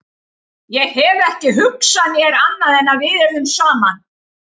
Ég hef ekki hugsað mér annað en að við yrðum saman.